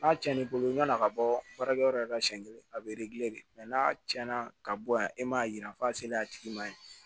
N'a cɛn n'i bolo yann'a ka bɔ baarakɛyɔrɔ la siɲɛ kelen a bɛ de n'a cɛn na ka bɔ yan e m'a yira f'a selen a tigi ma yen